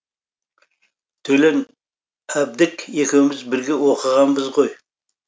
төлен әбдік екеуміз бірге оқығанбыз ғой